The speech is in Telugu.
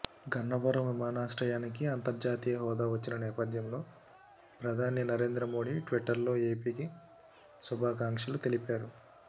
గన్నవరం విమానాశ్రయానికి అంతర్జాతీయ హోదా వచ్చిన నేపథ్యంలో ప్రధాని నరేంద్ర మోడీ ట్విట్టర్లో ఏపీకి శుభాకాంక్షలు తెలిపారు